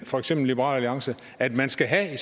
for eksempel liberal alliance at man skal have i